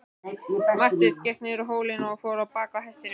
Marteinn gekk niður hólinn og fór á bak hestinum.